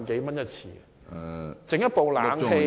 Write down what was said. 維修一部冷氣機......